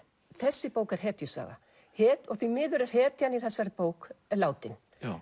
þessi bók er hetjusaga því miður er hetjan í þessari bók látin